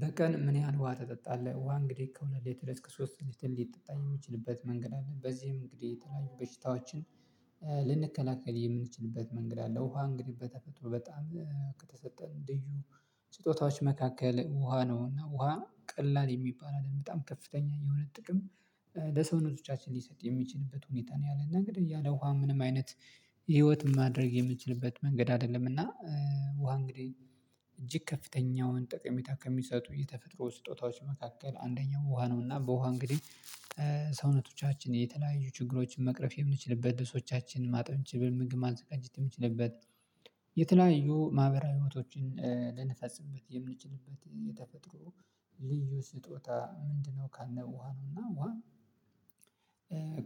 በቀን ምን ያህል ውሃ ትጠጣለህ? ውሃ እንግዲህ ከሁለት ሊትር እስከ ሶስት ሊትር ሊጠጣ የሚችልበት መንገድ አለ በዚህም እንግዲህ የተለያዩ በሽታዎችን ልንከላከል የምንችልበት መንገድ አለ። ውሃ እንግዲህ በተፈጥሮ በጣም ከተሰጠን እንዲሁ ስጦታዎች መካከል ውሃ ነው እና ውሃ ቀላል የሚባል አለም በጣም ከፍተኛ የሆነ ጥቅም ለሰውነቶቻችን ሊሰጥ የሚችልበት ሁኔታ ነው። ያለን ነገር ያለ ውሃ ምንም አይነት ህይወት ማድረግ የምንችልበት መንገድ አይደለም። እና ውሃ እንግዲህ እጅግ ከፍተኛውን ጠቀሜታ ከሚሰጡ የተፈጥሮ ስጦታዎች መካከል አንደኛው ውሃ ነውና። በውሃ እንግዲህ ሰውነቶቻችን የተለያዩ ችግሮችን መቅረፍ የምንችልበት ልብሶቻችንን ማጠብ ምግብ ማንዘጋጀት የምንችልበት የተለያዩ ማህበራዊ ህይወቶችን ልንፈጽበት የምንችልበት የተፈጥሮ ልዩ ስጦታ ምንድነው ካልነ ውሃ ነው። እና ውሃ